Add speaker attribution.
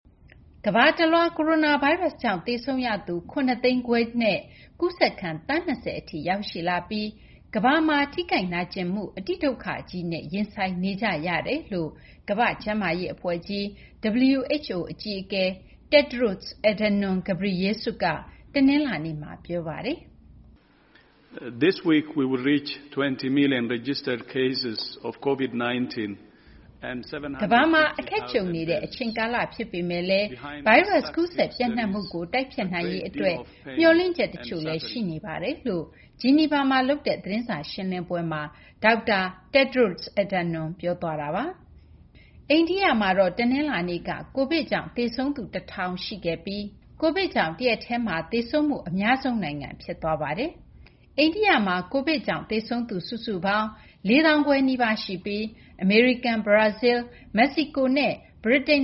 Speaker 1: ကမ္ဘာတလွှား ကိုရိုနာဗိုင်းပ်စ်ကြောင့် သေဆုံးရသူ ၇၅၀,၀၀၀ နဲ့ ကူးစက်ခံ သန်း ၂၀ ထိ ရောက်ရှိလာပြီး ကမ္ဘာတလွှားမှာ ထိခိုက်နာကျင်မှု အတိဒုက္ခကြီးနဲ့ ရင်ဆိုင်နေကြရတယ်လို့ ကမ္ဘာ့ကျန်းမာရေး အဖွဲ့ကြီး WHO အကြီးအကဲ Tedros Adhanom Ghebreyesus က တနလာၤနေ့မှာ ပြောဆိုလိုက်ပါတယ်။ “
Speaker 2: ကမ္ဘာမှာ အခက်ကြ
Speaker 1: ုံနေရတဲ့ အချိန်ကာလ ဖြစ်ပေမယ့်လည်း ကိုရိုနာဗိုင်းရပ်စ် ကူးစက် ပျံ့နှံ့မှုကို တိုက်ဖျက်နိုင်ရေး အတွက် မျှော်လင့်ချက် တချို့လည်း ရှိနေပါတယ်” လို့ ဂျီနီဗာမှာ လုပ်တဲ့ သတင်းစာရှင်းလင်းပွဲမှာ Tedros Adhanom က ပြောသွားပါတယ်။ အိန္ဒိယမှာတော့ တနလာၤနေ့က COVID ကြောင့် သေဆုံးသူ ၁,၀၀၀ ရှိခဲ့ပြီး COVID ကြောင့် တရက်တည်းမှာ သေဆုံးမှု အများဆုံး နိုင်ငံ ဖြစ်သွားပါတယ်။ အိန္ဒိယမှာ COVID ကြောင့် သေဆုံးသူ ၄၄,၃၈၆ ဦး ရှိပြီး အမေရိကန်၊ ဘရာဇီလ်း၊ မက္ကဆီကိုနဲ့ ဗြိတိန်